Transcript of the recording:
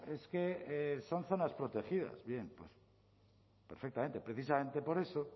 es que son zonas protegidas bien perfectamente precisamente por eso